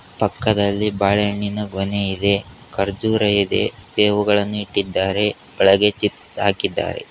ಪಕ್ಕದಲ್ಲಿ ಬಾಳೆಹಣ್ಣಿನ ಗೊನೆ ಇದೆ ಖರ್ಜೂರ ಇದೆ ಸೇಬುಗಳನ್ನು ಇಟ್ಟಿದ್ದಾರೆ ಒಳಗೆ ಚಿಪ್ಸ್ ಹಾಕಿದ್ದಾರೆ.